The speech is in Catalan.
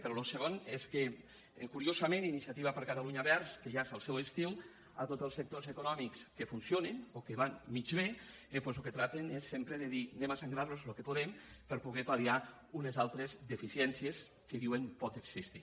però el segon és que curiosament iniciativa per catalunya verds que ja és el seu estil a tots els sectors econòmics que funcionen o que van mig bé doncs del que tracten és sempre de dir anem a sagnar los el que puguem per poder pal·liar unes altres deficiències que diuen poden existir